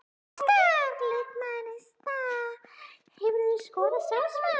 Óskar leikmaður Neista Hefurðu skorað sjálfsmark?